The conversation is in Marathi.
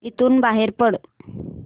इथून बाहेर पड